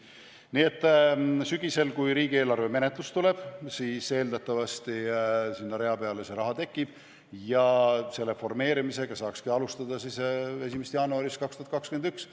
Nii et sügisel, kui riigieelarve menetlus tuleb, siis eeldatavasti sinna rea peale tekib raha ja selle formeerimisega saakski alustada 1. jaanuarist 2021.